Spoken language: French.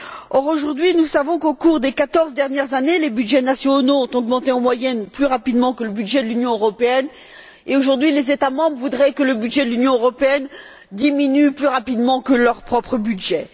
Or, aujourd'hui nous savons qu'au cours des quatorze dernières années, les budgets nationaux ont augmenté, en moyenne, plus rapidement que le budget de l'Union européenne et, aujourd'hui, les États membres voudraient que le budget de l'Union européenne diminue plus rapidement que leur propre budget.